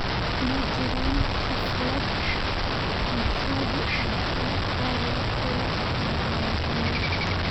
ma jiraan xaflado maxali ah oo caawa la abaabulay